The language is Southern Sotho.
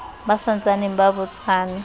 ba sa ntsaneng ba botsana